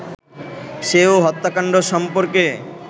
সেও হত্যাকান্ড সম্পর্কে